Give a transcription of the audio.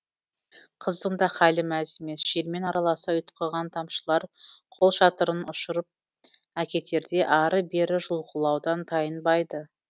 қыздың да хәлі мәз емес желмен араласа ұйытқыған тамшылар қолшатырын ұшырып әкетердей ары бері жұлқылаудан тайынбайды